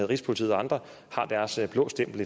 rigspolitiet og andre har deres blå stempel